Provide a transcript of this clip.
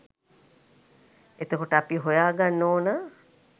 එතකොට අපි හොයා ගන්න ඕන